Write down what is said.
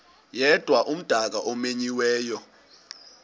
yedwa umdaka omenyiweyo